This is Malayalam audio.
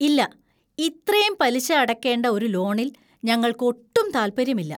ഇല്ല! ഇത്രേം പലിശ അടക്കേണ്ട ഒരു ലോണിൽ ഞങ്ങൾക്കൊട്ടും താൽപ്പര്യമില്ല.